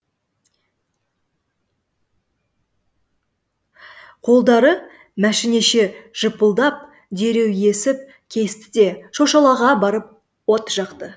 қолдары машинеше жыпылдап дереу есіп кесті де шошалаға барып от жақты